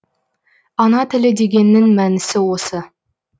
ана тілі дегеннің мәнісі осы